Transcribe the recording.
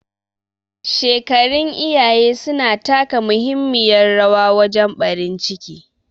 Shekarun iyaye suna taka muhimmiyar rawa wajen ɓarin ciki